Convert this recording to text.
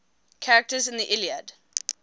characters in the iliad